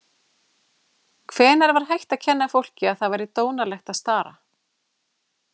Hvenær var hætt að kenna fólki að það væri dónalegt að stara?